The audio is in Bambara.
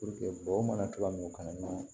bɔ mana cogoya min ka na